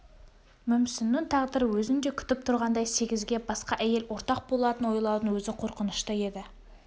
мүмсіннің тағдыры өзін де күтіп тұрғандай сегізге басқа әйел ортақ болатынын ойлаудың өзі қорқынышты еді